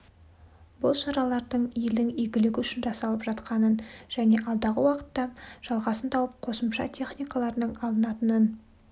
бұл шаралардың елдің игілігі үшін жасалып жатқанын және алдағы уақытта жалғасын тауып қосымша техникалардың алынатынын